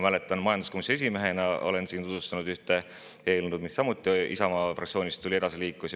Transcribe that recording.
Ma majanduskomisjoni esimehena olen siin tutvustanud ühte eelnõu, mis samuti oli tulnud Isamaa fraktsioonist ja millega liiguti edasi.